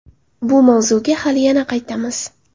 Bu mavzuga hali yana qaytamiz.